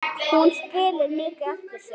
Hún skilur mikið eftir sig.